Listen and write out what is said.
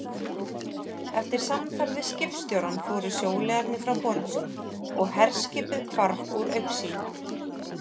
Eftir samtal við skipstjórann fóru sjóliðarnir frá borði, og herskipið hvarf úr augsýn.